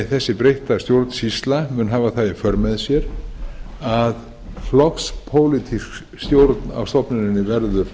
þessi breytta stjórnsýsla mun hafa það í för með sér að flokkspólitísk stjórn að stofnuninni verður